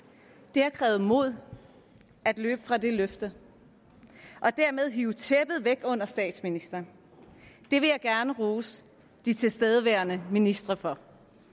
det har krævet mod at løbe fra det løfte og dermed hive tæppet væk under statsministeren det vil jeg gerne rose de tilstedeværende ministre for